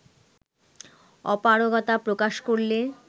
অপারগতা প্রকাশ করলে